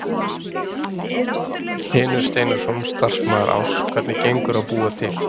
Hlynur Steinarsson, starfsmaður Áss: Hvernig gengur að búa til?